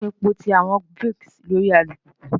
Kini ipo ti awọn brakes lori alupupu?